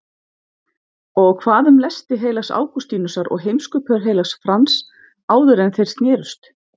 Og hvað um lesti heilags Ágústínusar og heimskupör heilags Frans áðuren þeir snerust?